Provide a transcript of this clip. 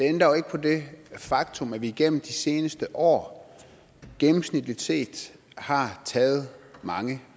ændrer ikke på det faktum at vi gennem de seneste år gennemsnitligt set har taget mange